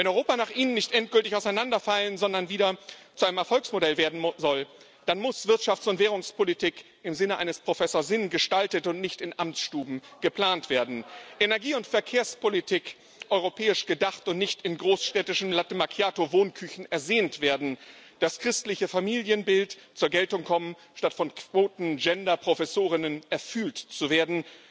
Wenn Europa nach Ihnen nicht endgültig auseinanderfallen, sondern wieder zu einem Erfolgsmodell werden soll, dann muss Wirtschafts und Währungspolitik im Sinne eines Professor Sinn gestaltet und nicht in Amtsstuben geplant werden, Energie und Verkehrspolitik europäisch gedacht und nicht in großstädtischen Latte Macchiato Wohnküchen ersehnt werden, das christliche Familienbild zur Geltung kommen, statt von Quoten Genderprofessorinnen erfühlt zu werden,